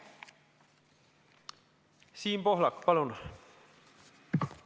Siim Pohlak, palun!